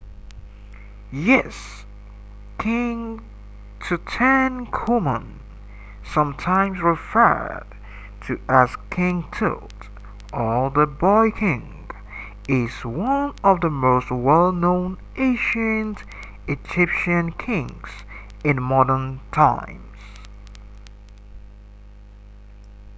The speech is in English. yes king tutankhamun sometimes referred to as king tut or the boy king is one of the most well known ancient egyptian kings in modern times